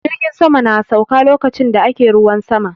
Jirgin sama na sauka lokacin da ake ruwan sama